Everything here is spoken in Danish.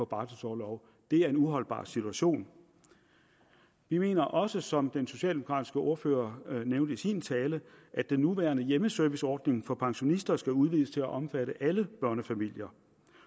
barselorlov det er en uholdbar situation vi mener også som den socialdemokratiske ordfører nævnte i sin tale at den nuværende hjemmeserviceordning for pensionister skal udvides til at omfatte alle børnefamilier